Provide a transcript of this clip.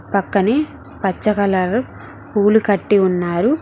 పక్కనే పచ్చ కలర్ పూలు కట్టి ఉన్నారు.